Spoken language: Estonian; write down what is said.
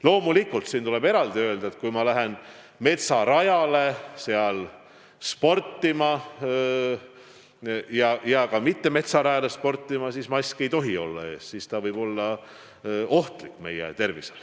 Loomulikult, siin tuleb eraldi öelda, et kui minna metsarajale või ka mittemetsarajale sportima, siis maski ees olla ei tohi, sest siis ta võib olla ohtlik meie tervisele.